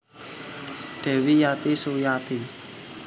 Dewi Yati Suyati